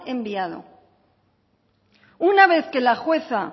enviado una vez que la jueza